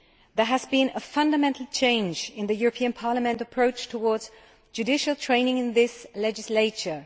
There has been a fundamental change in Parliament's approach towards judicial training in this legislature.